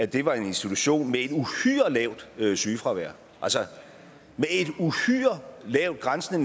det var en institution med et uhyre lavt sygefravær altså med et uhyre lavt grænsende